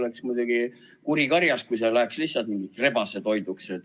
Oleks muidugi kuri karjas, kui need läheks lihtsalt rebasetoiduks.